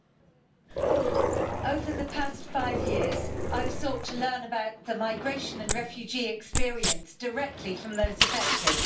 Mr President, over the past five years, I have sought to learn about the migration and refugee experience directly from those affected.